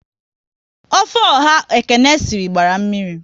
Ofe ọha Ekene sịrị gbara mmiri